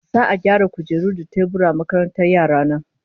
Za'a gyara kujeru da teburan makarantar yara na